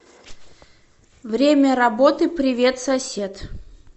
время работы привет сосед